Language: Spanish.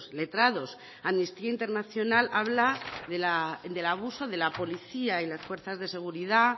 letrados amnistía internacional habla de la abuso de la policía y las fuerzas de seguridad